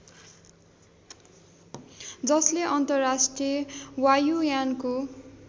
जसले अन्तर्राष्ट्रिय वायुयानको